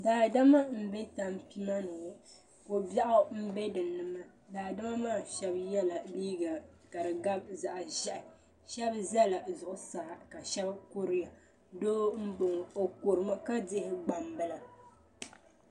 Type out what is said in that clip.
Daadama n bɛ tanpima ni ŋɔ kɔbiɛgu n bɛ din ni daadama maa shaba yɛla liiga ka gabi zaɣa ʒiɛhi shaba zala zuɣusaa ka shaba kuriya doo n bɔŋo o kuri mi ka dihi gbambila.